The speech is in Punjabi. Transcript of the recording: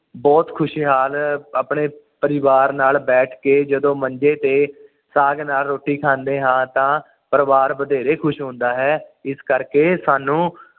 ਬੁਹਤ ਖੁਸ਼ਹਾਲ ਆਪਣੇ ਪਰਿਵਾਰ ਨਾਲ ਬੈਠ ਕੇ ਜਦੋਂ ਮੰਜੇ ਤੇ ਸਾਗ ਨਾਲ ਰੋਟੀ ਖਾਂਦੇ ਹਾਂ ਤਾ ਪਰਿਵਾਰ ਬਥੇਰੇ ਖੁਸ਼ ਹੁੰਦਾ ਹੈ ਇਸ ਕਰਕੇ ਸਾਨੂੰ